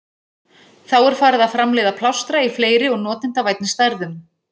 Þá var farið að framleiða plástra í fleiri og notendavænni stærðum.